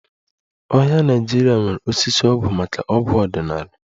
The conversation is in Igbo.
Ọhịa Naịjirịa nwere osisi ọgwụ maka ọgwụ ọdịnala